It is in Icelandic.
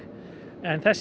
en þessi